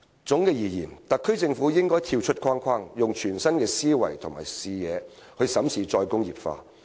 總的來說，政府應跳出框框，以全新思維和視野審視"再工業化"。